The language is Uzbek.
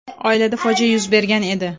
Oilada fojia yuz bergan edi.